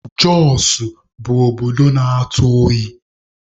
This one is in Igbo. Jọsụ bụ obodo na-atụ oyi.